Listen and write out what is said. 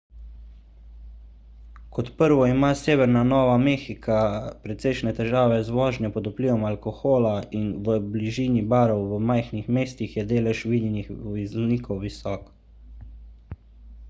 kot prvo ima severna nova mehika precejšnje težave z vožnjo pod vplivom alkohola in v bližini barov v majhnih mestih je delež vinjenih voznikov visok